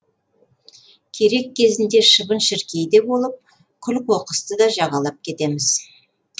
керек кезінде шыбын шіркей де болып күл қоқысты да жағалап кетеміз